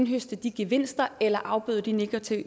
høste de gevinster eller afbøde de negative